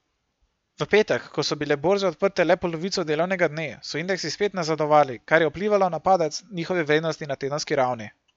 V petek, ko so bile borze odprte le polovico delovnega dne, so indeksi spet nazadovali, kar je vplivalo na padec njihove vrednosti na tedenski ravni.